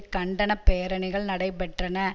கண்டன பேரணிகள் நடைபெற்றன